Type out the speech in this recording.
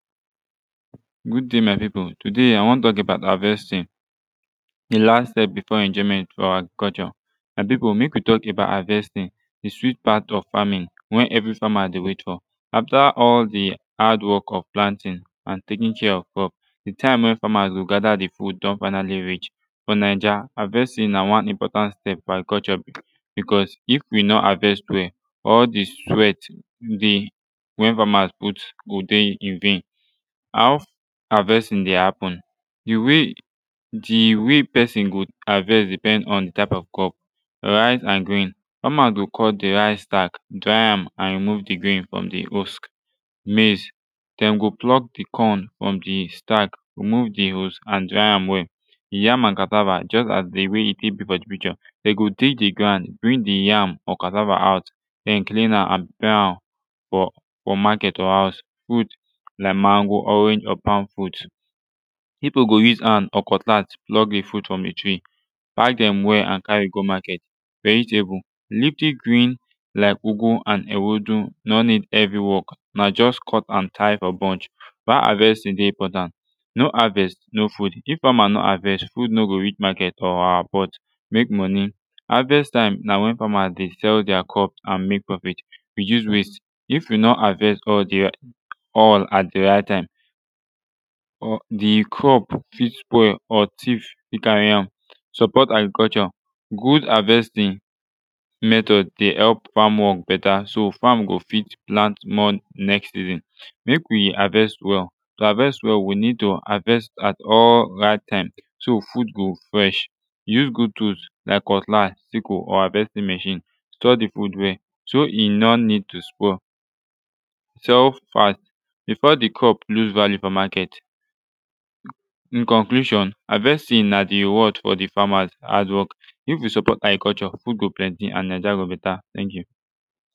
good day my pipu today i wan tok about harvesting de last step before enjoyment fo agriculture my pipu mek we tok about harvesting de sweet part of farming wey evri fama de wait fo after all de hardwork of planting an taking care of crop de taime wey famas go gather de food don finally reach for naija havesting na one important step fo agriculture becuz if we no havest well all de sweat dey wey famas put go de in vain how havestin de hapun de way de way wey pesin go havest depend on de type of crop rice and grain fama go cut de rice stack dry am remove de grain frum de husk maize dem go pluck de corn frum de stack remove de husk an dry am well yam an cassava juz as de way e tek bi fo de picture dem go dig de ground brinf de yam or cassava out den clean am an prepare am fo fo market or houz fruit like mango orange or palm frut pipu go use hand or cutlass pluck de frut frum de tree pack dem well an carry go market vegetable leafy green like ugwu and ewedu nor need heavy work na just cut and tie fo bunch why havesting de important no havest no food if fama no havest food no go reach market or our pot mek monie havest taime na wen famas de sell dier crop an mek profit reduce waste if we no havest al de all at de right taime or de crop fit spoil or tief fit cari am support agriculture good havesting method de help fam wok beta so fam go fit plant more next season mek we havest well to havest well we nid to havest at all right taime so food go fresh use good tools den cutlass sickle or havesting machine store de food well so e no nid to spoil tough part befo de crop loose value fo maket in conclusion havesting na de reward fo de famas hadwork if we support agriculture food go plenti an naija go beta tank yu